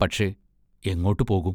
പക്ഷേ, എങ്ങോട്ടു പോകും?